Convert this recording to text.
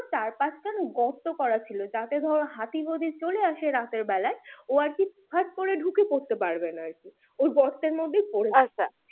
চার পাঁচখান গর্ত করা ছিল যাতে ধরো হাতি যদি চলে আসে রাতের বেলায় ও ফোট করে ঢুকে পড়তে পারবেনা আরকি আচ্ছা ওই গর্তের মধ্যেই পরে আচ্ছা